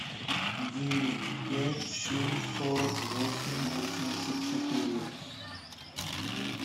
девять пять семь сорок восемь восемьдесят четыре